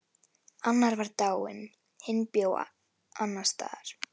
Annar var dáinn, hinn bjó annars staðar.